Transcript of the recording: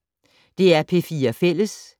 DR P4 Fælles